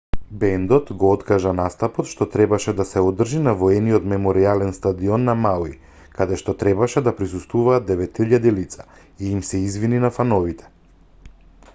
бендот го откажа настапот што требаше да се одржи на воениот меморијален стадион на мауи каде што требаше да присуствуваат 9000 лица и им се извини на фановите